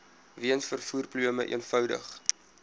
weens vervoerprobleme eenvoudig